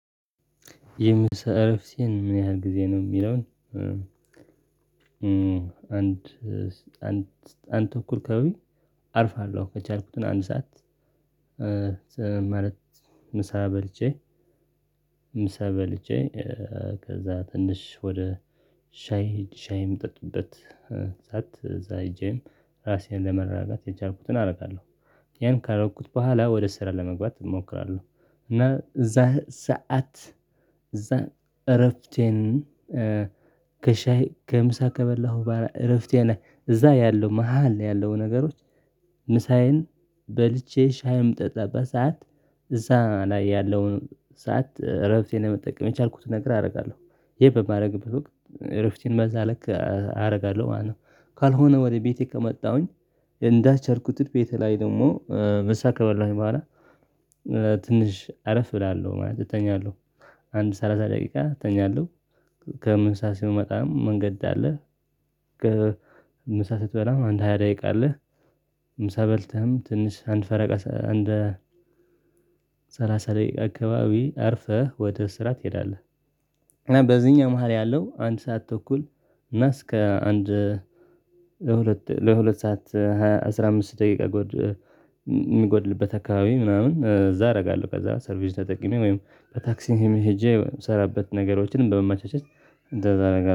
የምሰራው ስራ ምን ያህል ጊዜ ነው የሚለውን አንድ አንድ ተኩል አካባቢ አርፋለሁ ከቻልኩት አንድ ሰዓት ማለት ምሳ በልቼ ምሳ በልቼ ከዛ ትንሽ ወደ ሻይ ሻይ የሚጠጡበት እዛ ሄጄ ራሴን ለማረጋጋት የቻልኩትን አደርጋለሁ። ያን ካደረኩት በኋላ ወደ ስራ ለመግባት እሞክራለሁ እና እዛ ሰዓት እዛ እረፍቴን ከሻይ ከምሳ ከበላሁ እረፍቴ ላይ እዛ ያለው መሃል ያለው ነገሮች ምሳዬን በልቼ ሻይም በምጠጣበት ሰዓት እዛ ላይ ያለውን ሰዓት እረፍቴን ለመጠቀም የቻልኩትን ነገር አደርጋለሁ። ይሄን በማደርግበት ወቅት እረፍቴን በዛ ልክ አደርጋለሁ ማለት ነው ካልሆነ ወደ ቤቴ ከመጣሁኝ እንዳሰብኩት ቤቴ ላይ ደግሞ ምሳ ከበላሁኝ በኋላ ትንሽ አረፍ እላለሁ ማለት እተኛለሁ አንድ ሰላሳ ደቂቃ እተኛለሁ ከምሳ ስመጣም መንገድ አለ ከምሳ ስትበላም አንድ ሃያ ደቂቃ አለ ምሳ በልተህም ትንሽ አንድ ፈረቃ አንድ ላይ አካባቢ አርፈህ ወደ ስራ ትሄዳለህ በዚህኛው መሃል ያለው አንድ ሰዓት ተኩል እና እስከ አንድ ለሁለት ለሁለት ሰዓት አስራ አምስት ደቂቃ ጎድ የምጎድልበት አካባቢ ምናምን እዛ አደርጋለሁ ከዛ ሰርቪስ ተጠቂሜ ወይም በታክሲም ሄጄ የምሰራበት ነገሮችን በመማቻቸት እንደዛ አረጋለው